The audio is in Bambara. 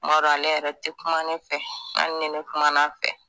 Kuma dɔw ale yɛrɛ te kuma ne fɛ ali ni ne kuman'a fɛ